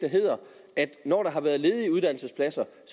at når der har været ledige uddannelsespladser